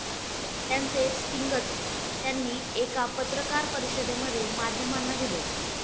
त्याचे स्टिंगच त्यांनी एका पत्रकार परिषदेमध्ये माध्यमांना दिले.